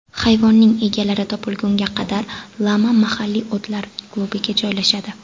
Hayvonning egalari topilgunga qadar, lama mahalliy otlar klubiga joylashadi.